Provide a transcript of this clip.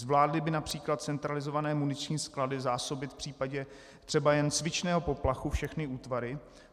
Zvládly by například centralizované muniční sklady zásobit v případě třeba jen cvičného poplachu všechny útvary?